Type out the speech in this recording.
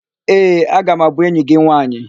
Ee, aga m abụ enyi gị nwaanyị.